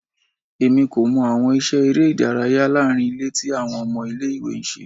Emi ko mọ awọn iṣẹ ere idaraya laarin ile ti awọn ọmọ ile-iwe n ṣe